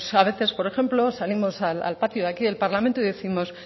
a veces por ejemplo salimos al patio de aquí del parlamento y décimos